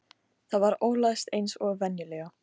Það var ólæst eins og venjulega.